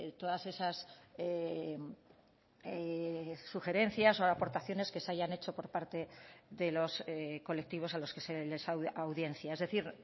todas esas sugerencias o aportaciones que se hayan hecho por parte de los colectivos a los que se les audiencia es decir